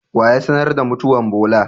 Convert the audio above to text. Waya sanar da mutuwan Bola?